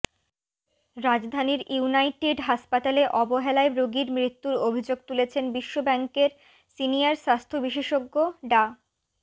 রাজধানীর ইউনাইটেড হাসপাতালে অবহেলায় রোগীর মৃত্যুর অভিযোগ তুলেছেন বিশ্ব ব্যাংকের সিনিয়র স্বাস্থ্য বিশেষজ্ঞ ডা